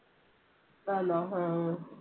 ആന്നോ, ഹാ